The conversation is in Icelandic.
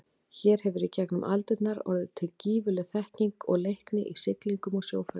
Hér hefur í gegnum aldirnar orðið til gífurleg þekking og leikni í siglingum og sjóferðum.